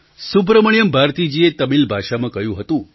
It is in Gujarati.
સુબ્રમણ્યમ ભારતીજીએ તમિલ ભાષામાં કહ્યું હતું